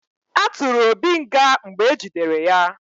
A tụrụ Obi nga mgbe ejidere ya